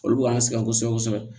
Olu b'an sɛgɛn kosɛbɛ kosɛbɛ